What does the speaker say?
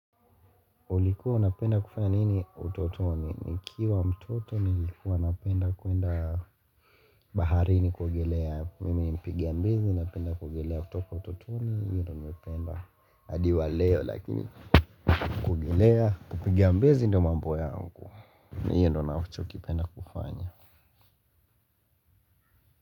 Ulikuwa unapenda kufanya nini utotoni, nikiwa mtoto nilikuwa napenda kwenda baharini kuogelea, mimi mpiga mbizi napenda kuogelea kutoka utotoni, hiyo nimependa adi wa leo lakini kuogelea kupigia mbizi ndio mambo yangu, ni hiyo ndo nachokipenda kufanya.